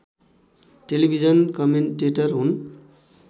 television commentator हुन्